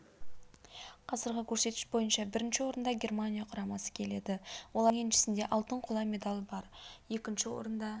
қазіргі көрсеткіш бойынша бірінші орында германия құрамасы келеді олардың еншісінде алтын қола медаль бар екінші орында